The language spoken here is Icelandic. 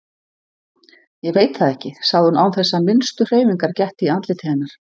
Ég veit það ekki, sagði hún án þess að minnstu hreyfingar gætti í andliti hennar.